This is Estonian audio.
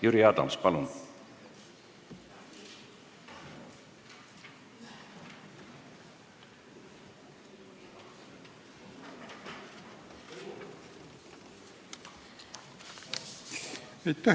Jüri Adams, palun!